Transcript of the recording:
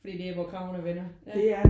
Fordi det er der hvor kragerne vender ja